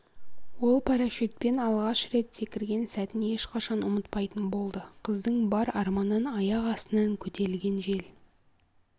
ол парашютпен алғаш рет секірген сәтін ешқашан ұмытпайтын болды қыздың бар арманын аяқ астынан көтерілген жел